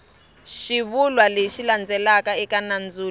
xivulwa lexi landzelaka eka nandzulo